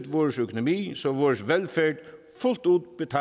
vores økonomi så vores velfærd fuldt ud